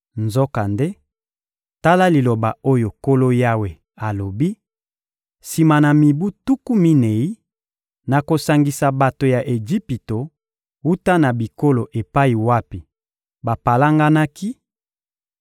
Nzokande, tala liloba oyo Nkolo Yawe alobi: Sima na mibu tuku minei, nakosangisa bato ya Ejipito wuta na bikolo epai wapi bapalanganaki,